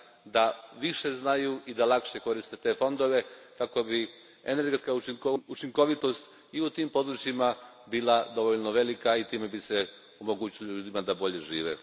da više znaju i lakše koriste te fondove kako bi energetska učinkovitost i u tim područjima bila dovoljna velika i time bi se omogućilo ljudima da bolje žive.